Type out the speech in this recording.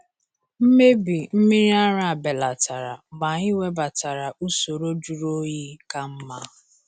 Mmebi mmiri ara belatara mgbe anyị webatara usoro jụrụ oyi ka mma.